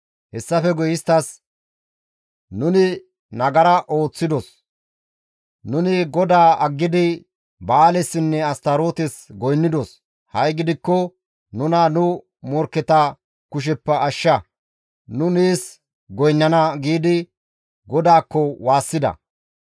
Hessafe guye isttas, ‹Nuni nagara ooththidos; nuni GODAA aggidi Ba7aalessinne Astarootes goynnidos; ha7i gidikko nuna nu morkketa kusheppe ashsha; nu nees goynnana!› giidi GODAAKKO waassida.